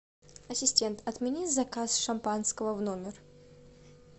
ассистент отмени заказ шампанского в номер